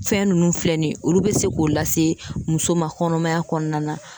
Fɛn nunnu filɛ nin ye olu be se k'o lase muso ma kɔnɔmaya kɔnɔna na